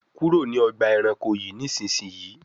kúrò ní Ọgbà ẹranko yi nísìsiyìí!